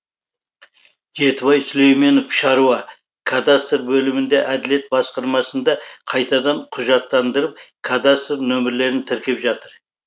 жетібай сүлейменов шаруа кадастр бөлімінде әділет басқармасында қайтадан құжаттандырып кадастр нөмірлерін тіркеп жатыр